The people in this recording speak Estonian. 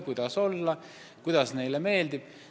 Oleneb, kuidas kellelegi meeldib.